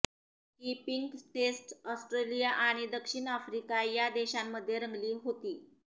ही pink test Australia आणि दक्षिण Africa या देशांमध्ये रंगली होती